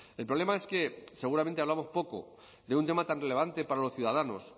el problema es que seguramente hablamos poco de un tema tan relevante para los ciudadanos